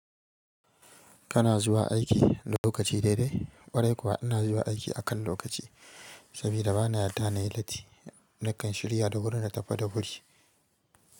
Kana zuwa aiki da lokaci daidai, ƙwarai kuwa ina zuwa aiki akan lokaci sabida bana yarda na yi latti na kan shirya da wuri na tafi da wuri.